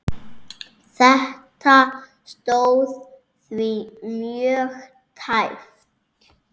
Þetta stóð því mjög tæpt.